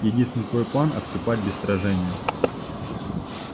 единственный твой план отступать без сражения